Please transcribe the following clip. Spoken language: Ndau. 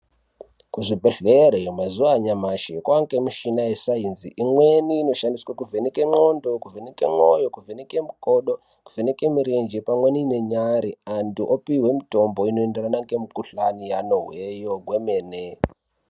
Kuzvibhedhlere mazuva anyamashi kwavanikwe michina yesaenzi imweni inoshandiswa kuvheneke ndxondo, kuvheneke mwoyo, kuvheneke mukodo, kuvheneke murenje pamweni nenyare. Antu opihwe mutombo unoenderana nemukuhlani yaanohweyo hwemene.